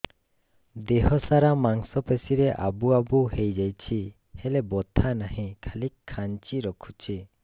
ଦେହ ସାରା ମାଂସ ପେଷି ରେ ଆବୁ ଆବୁ ହୋଇଯାଇଛି ହେଲେ ବଥା ନାହିଁ ଖାଲି କାଞ୍ଚି ରଖୁଛି